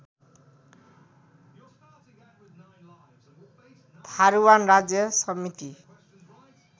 थारुवान राज्य समिति